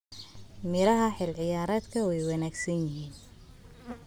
Miraha xilli ciyaareedkan waa wanaagsan yihiin.